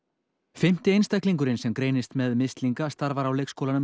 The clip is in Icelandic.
fimmti einstaklingurinn sem greinist með mislinga starfar á leikskólanum